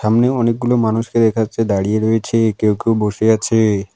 সামনে অনেকগুলো মানুষকে দেখা যাচ্ছে দাঁড়িয়ে রয়েছে কেউ কেউ বসে আছে।